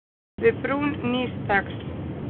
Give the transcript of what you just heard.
Við brún nýs dags.